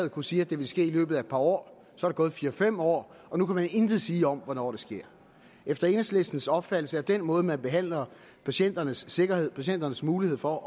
at kunne sige at det ville ske i løbet af et par år så er der gået fire fem år og nu kan man intet sige om hvornår det sker efter enhedslistens opfattelse er den måde hvorpå man behandler patienternes sikkerhed patienternes mulighed for